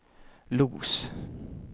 Los